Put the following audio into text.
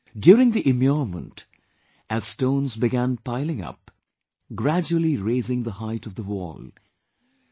During the immurement, as stones began piling up, gradually raising the height of the wall......